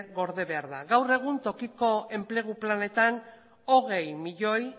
gorde behar da gaur egun tokiko enplegu planetan hogei milioi